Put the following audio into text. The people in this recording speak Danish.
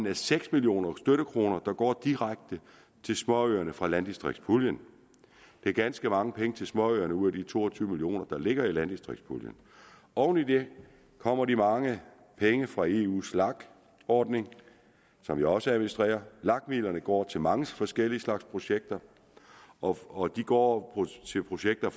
af seks millioner støttekroner der går direkte til småøerne fra landdistriktspuljen det er ganske mange penge til småøerne ud af de to og tyve million kr der ligger i landdistriktspuljen oven i det kommer de mange penge fra eus lag ordning som jeg også administrerer lag midlerne går til mange forskellige slags projekter og og de går til projekter